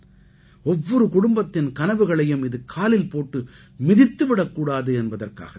ஒவ்வொரு குடும்பத்தின் கனவுகளையும் இது காலில் போட்டு மிதித்து விடக் கூடாது என்பதற்காகத் தான்